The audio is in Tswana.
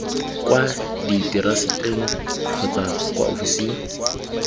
kwa diteraseteng kgotsa kwa ofising